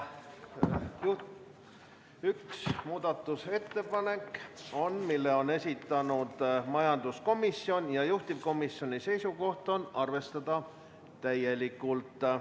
On üks muudatusettepanek, mille on esitanud majanduskomisjon ja juhtivkomisjoni seisukoht on arvestada seda täielikult.